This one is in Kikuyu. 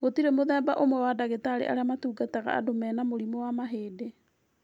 Gũtirĩ mũthemba ũmwe wa ndagĩtarĩ arĩa matungataga andũ mena mũrimũ wa mahĩndĩ